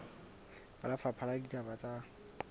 ba lefapha la ditaba tsa